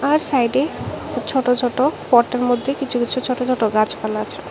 আর সাইডে ছোট ছোট পটের মধ্যে কিছু কিছু ছোট ছোট গাছপালা আছে।